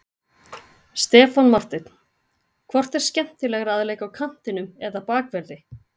Stefán Marteinn Hvort er skemmtilegra að leika á kantinum eða Bakverði?